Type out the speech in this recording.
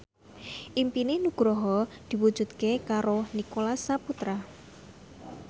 impine Nugroho diwujudke karo Nicholas Saputra